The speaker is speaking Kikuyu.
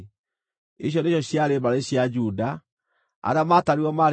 Icio nĩcio ciarĩ mbarĩ cia Juda; arĩa maatarirwo maarĩ andũ 76,500.